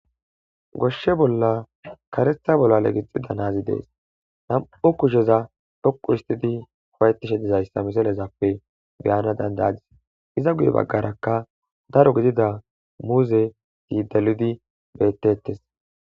goshshe bolla karetha bollale gixida naazi dees nam7u kusheza dhoqu istidi howayettishe dizayssa misalezappe beyana dandaadis iza guye baggarakka daro gidida muuze ziidaludi bettettes